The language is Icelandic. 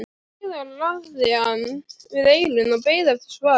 Síðan lagði hann við eyrun og beið eftir svari.